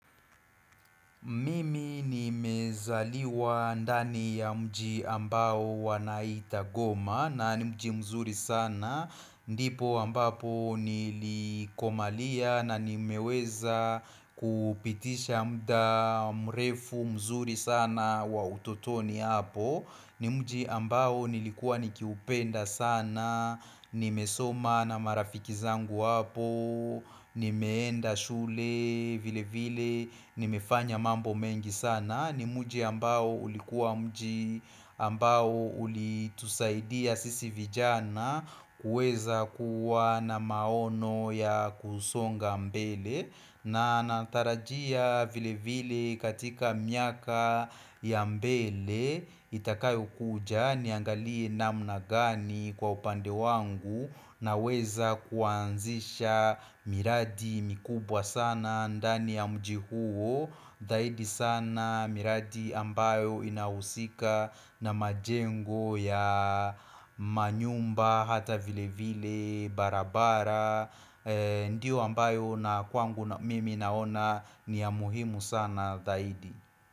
Mimi nimezaliwa ndani ya mji ambao wanaita goma na ni mji mzuri sana ndipo ambapo nilikomalia na nimeweza kupitisha mda mrefu mzuri sana wa utotoni hapo ni mji ambao nilikuwa nikiupenda sana, nimesoma na marafiki zangu hapo nimeenda shule vile vile nimefanya mambo mengi sana ni muji ambao ulikuwa mji ambao ulitusaidia sisi vijana kuweza kuwa na maono ya kusonga mbele na natarajia vile vile katika miaka ya mbele Itakayokuja niangalie namna gani kwa upande wangu Naweza kuanzisha miradi mikubwa sana ndani ya mji huo Zaidi sana miradi ambayo inahusika na majengo ya manyumba hata vile vile barabara Ndiyo ambayo na kwangu mimi naona ni ya muhimu sana zaidi.